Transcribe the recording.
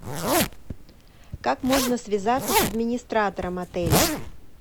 как можно связаться с администратором отеля